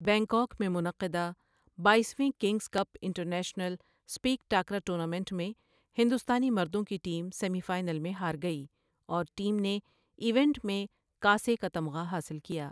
Bangkok میں منعقدہ باییس ویں kings cup international sepak takraw tournament میں ہندوستانی مردوں کی ٹیم سیمی فائنل میں ہار گئی اور ٹیم نے ایونٹ میں کانسی کا تمغہ حاصل کیا۔